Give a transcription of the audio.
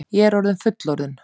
Ég er orðin fullorðin.